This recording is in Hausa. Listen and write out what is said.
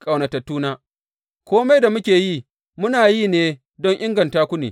Ƙaunatattuna, kome da muke yi, muna yi ne don inganta ku ne.